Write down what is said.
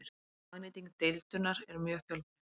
Hagnýting deildunar er mjög fjölbreytt.